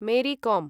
मेरी कों